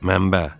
Mənbə?